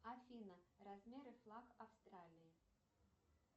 афина размер и флаг австралии